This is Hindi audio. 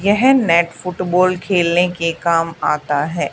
यह मैट फुटबॉल खेलने के काम आता है।